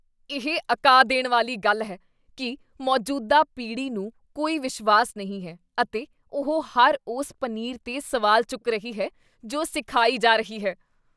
ਇਹ ਅਕਾ ਦੇਣ ਵਾਲੀ ਗੱਲ ਹੈ ਕੀ ਮੌਜੂਦਾ ਪੀੜ੍ਹੀ ਨੂੰ ਕੋਈ ਵਿਸ਼ਵਾਸ ਨਹੀਂ ਹੈ ਅਤੇ ਉਹ ਹਰ ਉਸ ਪਨੀਰ 'ਤੇ ਸਵਾਲ ਚੁੱਕ ਰਹੀ ਹੈ ਜੋ ਸਿਖਾਈ ਜਾ ਰਹੀ ਹੈ।